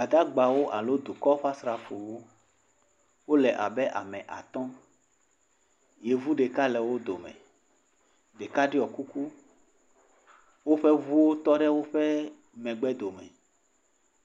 Gbadagbawo alo dukɔ ƒe asrafowo, wole abe ame atɔ̃, yevu ɖeka le wo dome, ɖeka ɖɔ kuku, woƒe ŋuwo tɔ ɖe woƒe megbe dome,